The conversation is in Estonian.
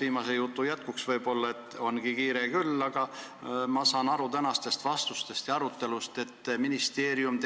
Viimase jutu jätkuks: võib-olla ongi kiire, aga ma saan tänasest arutelust aru, et ministeerium